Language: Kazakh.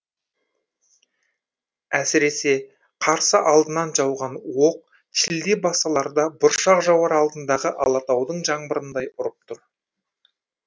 әсіресе қарсы алдынан жауған оқ шілде басталарда бұршақ жауар алдындағы алатаудың жаңбырындай ұрып тұр